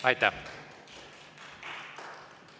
Aitäh!